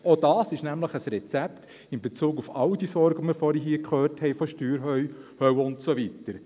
Auch das ist nämlich ein Rezept in Bezug auf all die Sorgen, von denen wir hier vorhin gehört haben, von der «Steuerhölle» und so weiter.